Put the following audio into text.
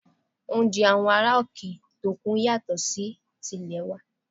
Oúnjẹ àwọn ará òkè òkun yàtọ̀ sí ti ilè wa